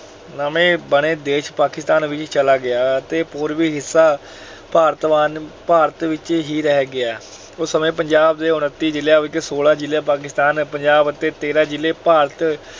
ਨਵੇਂ ਬਣੇ ਦੇਸ਼ ਪਾਕਿਸਤਾਨ ਵਿੱਚ ਚਲਾ ਗਿਆ ਅਤੇ ਪੂਰਬੀ ਹਿੱਸਾ ਭਾਰਤ ਵੰਡ ਅਹ ਭਾਰਤ ਵਿੱਚ ਹੀ ਰਹਿ ਗਿਆ। ਉਸ ਸਮੇਂ ਪੰਜਾਬ ਦੇ ਉੱਨਤੀ ਜ਼ਿਲ੍ਹਿਆਂ ਵਿੱਚੋਂ ਸੌਲਾਂ ਜ਼ਿਲ੍ਹੇ ਪਾਕਿਸਤਾਨ ਪੰਜਾਬ ਅਤੇ ਤੇਰਾਂ ਜ਼ਿਲ੍ਹੇ ਭਾਰਤ